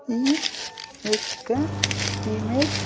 ఈ ఇగ్గా ఇమేజ్ .